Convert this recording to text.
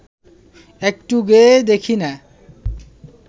একটু গেয়েই দেখি না